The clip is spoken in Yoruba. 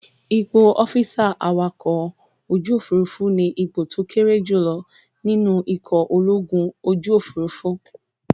Ipò ọ́físà awakọ̀-ojúòfúrufú ní ipò tó kéré jù lọ nínú ikọ̀ ológun ojúòfurufú